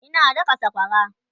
Ina daka sakwara